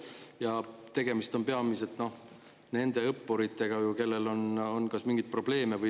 Ja tegemist on peamiselt nende õppuritega, kellel on mingeid probleeme.